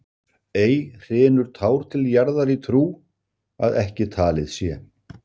Ei hrynur tár til jarðar í trú, að ekki talið sé.